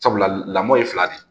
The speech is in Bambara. Sabula lamɔn ye fila de ye